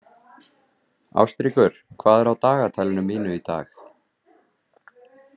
Ástríkur, hvað er á dagatalinu mínu í dag?